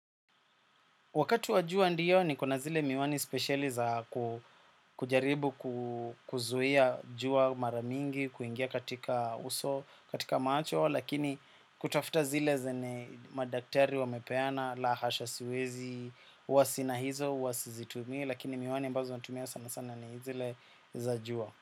Wakati wa jua ndiyo niko na zile miwani speciali za kujaribu kuzuia jua maramingi, kuingia katika uso, katika macho, lakini kutafuta zile zenye madaktari wamepeana, la hasha siwezi, huwa sina hizo, huwa sizitumii, lakini miwani ambazo natumia sana sana ni zile za jua.